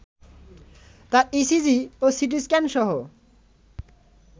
তার ইসিজি ও সিটিস্ক্যানসহ